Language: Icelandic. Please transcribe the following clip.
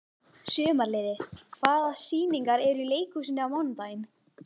Sumarliði, hvaða sýningar eru í leikhúsinu á mánudaginn?